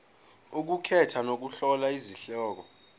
ukukhetha nokuhlola izihloko